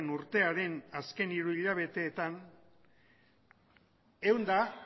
urtearen azken hiruhilabeteetan ehun eta